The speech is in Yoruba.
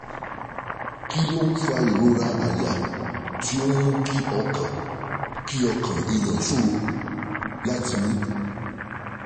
Kí ló ń fa ìrora àyà tó ń mú kí ọkàn kí ọkàn èèyàn ṣòro láti mí?